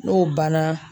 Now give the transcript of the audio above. N'o banna